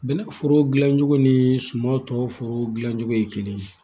Bɛnɛ foro dilan cogo ni suman tɔw foro dilancogo ye kelen ye